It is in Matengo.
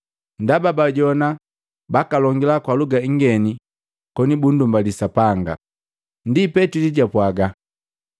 ndaba baajowana bakalongila kwa luga ingeni koni bundumbali Sapanga. Ndi Petili japwaa,